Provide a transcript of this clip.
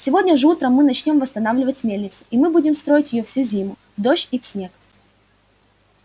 сегодня же утром мы начнём восстанавливать мельницу и мы будем строить её всю зиму в дождь и в снег